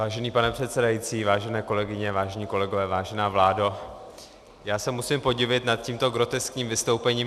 Vážený pane předsedající, vážené kolegyně, vážení kolegové, vážená vládo, já se musím podivit nad tímto groteskním vystoupením.